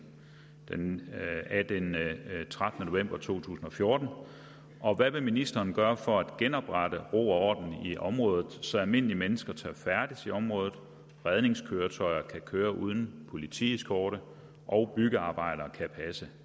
den trettende november to tusind og fjorten og hvad vil ministeren gøre for at genoprette ro og i området så almindelige mennesker tør færdes i området redningskøretøjer kan køre uden politieskorte og byggearbejdere kan passe